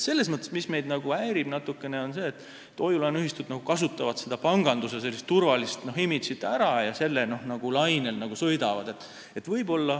Selles mõttes meid natukene häirib see, et hoiu-laenuühistud kasutavad panganduse turvalist imagot ära ja sõidavad nagu selle lainel.